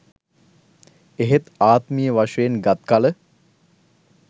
එහෙත් ආත්මීය වශයෙන් ගත් කළ